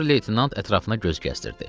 Oberleytenant ətrafına göz gəzdirdi.